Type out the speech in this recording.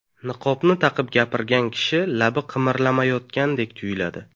Niqobni taqib gapirgan kishi labi qimirlamayotgandek tuyuladi.